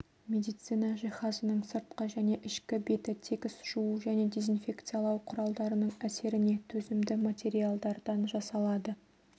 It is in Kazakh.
медицина жиһазының сыртқы және ішкі беті тегіс жуу және дезинфекциялау құралдарының әсеріне төзімді материалдардан жасалады